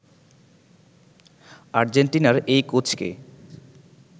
আর্জেন্টিনার এই কোচকে